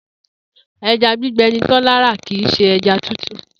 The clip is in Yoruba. E̩ja gbígbe̩ ni Tó̩lá ra kì í s̩e e̩ja tútù